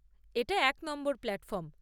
এটা এক নম্বর প্ল্যাটফর্ম।